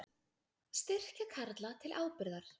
Styrkja Karla til ábyrgðar